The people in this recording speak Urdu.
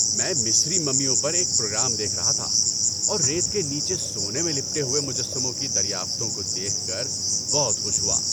میں مصری ممیوں پر ایک پروگرام دیکھ رہا تھا اور ریت کے نیچے سونے میں لپٹے ہوئے مجسموں کی دریافتوں کو دیکھ کر بہت خوش ہوا۔